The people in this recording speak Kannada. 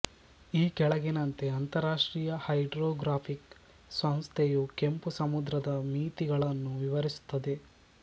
ಈ ಕೆಳಗಿನಂತೆ ಅಂತರರಾಷ್ಟ್ರೀಯ ಹೈಡ್ರೋಗ್ರಾಫಿಕ್ ಸಂಸ್ಥೆಯು ಕೆಂಪು ಸಮುದ್ರದ ಮಿತಿಗಳನ್ನು ವಿವರಿಸುತ್ತದೆ